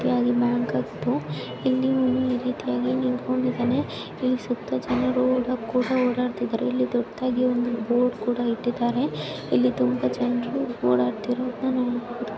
ಈ ರೀತಿಯಾಗಿ ಬ್ಯಾಂಕ್ ಆಗಿದ್ದು ಇಲ್ಲಿ ಒಂದು ಈ ರೀತಿಯಾಗಿ ನಿಂತುಕೊಂಡಿದ್ದಾನೆ ಇಲ್ಲಿ ಸುತ್ತ ಜನರು ಓ ಕೂಡ ಓಡಾಡ್ತಿದಾರೆ ಇಲ್ಲಿ ದೊಡ್ಡದಾಗಿ ಬೋರ್ಡ್ ಕೂಡ ಇಟ್ಟಿದಾರೆ ಇಲ್ಲಿ ತುಂಬಾ ಜನರು ಓಡಾಡ್ತಿರೋದನ್ನ ನೋಡಬಹುದು.